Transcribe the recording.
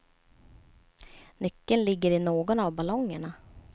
Nyckeln ligger i någon av ballongerna.